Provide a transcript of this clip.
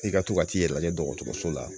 I ka to ka t'i yɛrɛ lajɛ dɔgɔtɔrɔso la